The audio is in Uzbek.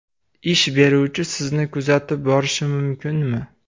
Ish beruvchi sizni kuzatib borishi mumkinmi?